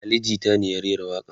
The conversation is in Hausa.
Ali jita ne ya rera waƙa n